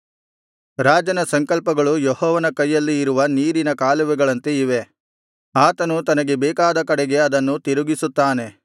ರಾಜನ ಸಂಕಲ್ಪಗಳು ಯೆಹೋವನ ಕೈಯಲ್ಲಿ ಇರುವ ನೀರಿನ ಕಾಲುವೆಗಳಂತೆ ಇವೆ ಆತನು ತನಗೆ ಬೇಕಾದ ಕಡೆಗೆ ಅದನ್ನು ತಿರುಗಿಸುತ್ತಾನೆ